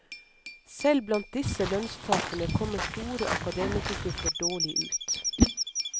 Selv blant disse lønnstaperne kommer store akademikergrupper dårlig ut.